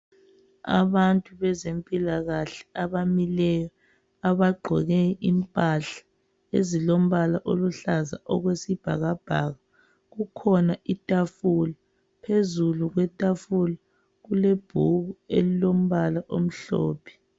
Abantu bezempilakahle abamileyo , abagqoke impahla ezilombala oluhlaza okwesibhakabhaka. Kukhona ithafula, phezukwethafula kulebhuku elilombala omhlophe.